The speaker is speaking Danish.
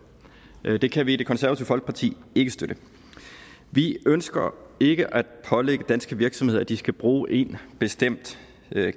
det kan vi i det konservative folkeparti ikke støtte vi ønsker ikke at pålægge danske virksomheder at de skal bruge én bestemt